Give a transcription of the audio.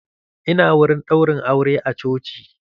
Ina wurin ɗaurin aure a coci.